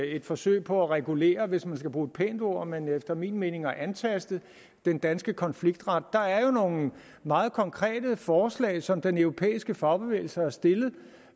et forsøg på at regulere hvis man skal bruge et pænt ord men efter min mening på at antaste den danske konfliktret der er jo nogle meget konkrete forslag som den europæiske fagbevægelse har stillet